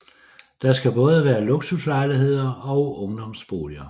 Der skal både være luksuslejligheder og ungdomsboliger